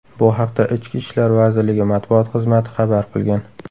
Bu haqda Ichki ishlar vazirligi matbuot xizmati xabar qilgan .